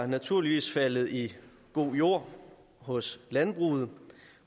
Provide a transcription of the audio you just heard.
er naturligvis faldet i god jord hos landbruget